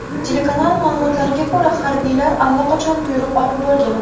Telekanal ma’lumotlariga ko‘ra, harbiylar allaqachon buyruq olib bo‘lgan.